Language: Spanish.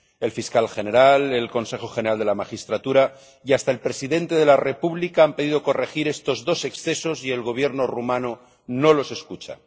El fiscal general, el Consejo General de la Magistratura y hasta el presidente de la República han pedido corregir estos dos excesos y el Gobierno rumano no les escucha.